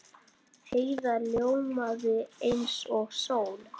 Heiða ljómaði eins og sól.